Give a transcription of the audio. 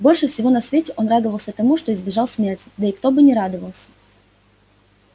больше всего на свете он радовался тому что избежал смерти да и кто бы не радовался